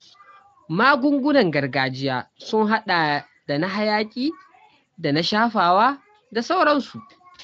Magungunan gargajiya sun haɗa da na hayaƙi da na shafawa da sauransu.